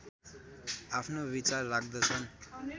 आफ्नो विचार राख्दछन्